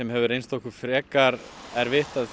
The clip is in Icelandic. hefur reynst okkur frekar erfitt